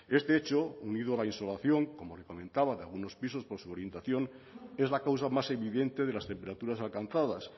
este hecho unido a la insolación como le comentaba de algunos pisos por su orientación es la causa más evidente de las temperaturas alcanzadas